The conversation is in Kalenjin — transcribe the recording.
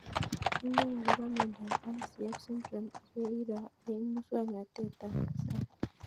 Inae akopo miondop ICF syndrome ye iro eng' muswognatet ab kasari